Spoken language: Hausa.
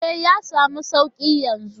E,, ya samu suƙi yanzu.